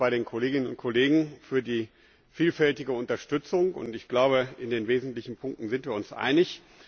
Ich bedanke mich bei den Kolleginnen und Kollegen für die vielfältige Unterstützung. In den wesentlichen Punkten sind wir uns einig.